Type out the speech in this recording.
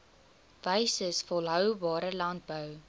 wyses volhoubare landbou